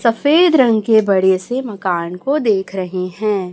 सफेद रंग के बड़े से मकान को देख रहे हैं।